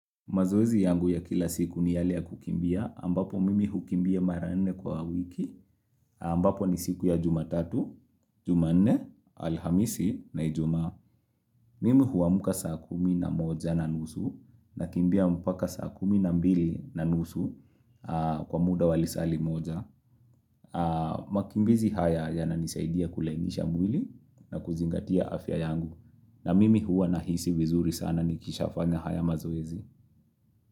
Mazoezi yangu ya kila siku ni yale ya kukimbia, ambapo mimi hukimbia maranne kwa wiki, ambapo ni siku ya jumatatu, jumanne, alhamisi, na ijumaa. Mimi huamuka saa kumi na moja na nusu, na kimbia mpaka saa kumi na mbili na nusu kwa muda walisali moja. Makimbizi haya ya nanisaidia kulainisha mwili na kuzingatia afya yangu, na mimi hua nahisi vizuri sana nikisha fanya haya mazoezi.